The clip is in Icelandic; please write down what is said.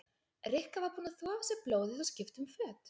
Rikka var búin að þvo af sér blóðið og skipta um föt.